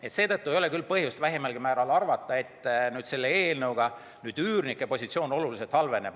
Ja seetõttu ei ole küll vähimalgi määral põhjust arvata, et selle eelnõu heaks kiitmisega üürnike positsioon oluliselt halveneb.